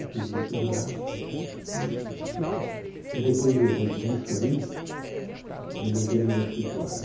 Eu fiz o vestibular e e depois eu de disso aí eu montei o meu escritório.